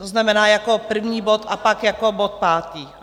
To znamená jako první bod a pak jako bod pátý.